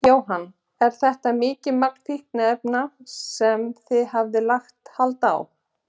Jóhann: Er þetta mikið magn fíkniefna sem þið hafið lagt hald á?